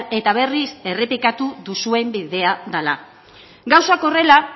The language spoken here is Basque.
eta berriz errepikatu duzuen bidea dela gauzak horrela